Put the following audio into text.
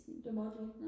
det måtte I ikke?